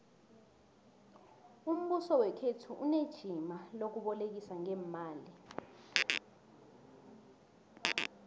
umbuso wekhethu unejima lokubolekisa ngeemali